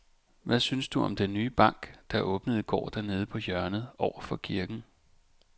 Hvad synes du om den nye bank, der åbnede i går dernede på hjørnet over for kirken?